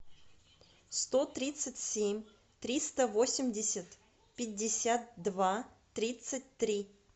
сто тридцать семь триста восемьдесят пятьдесят два тридцать три